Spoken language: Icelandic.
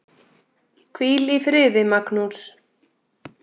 Hvíl í friði, Magnús.